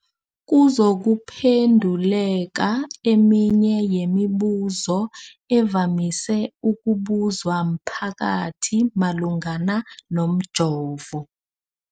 kuzokuphe nduleka eminye yemibu zo evamise ukubuzwa mphakathi malungana nomjovo.